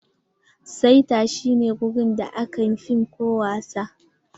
Saita shi ne wurin da aka fim ko wasa.